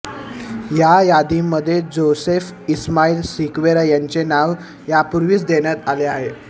त्या यादीमध्ये जोसेफ इस्माईल सिक्वेरा याचे नाव यापूर्वीच देण्यात आले आहे